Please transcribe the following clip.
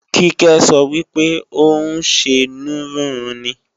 Kíkẹ́ sọ wípé ò ń ṣenú rúnrun ni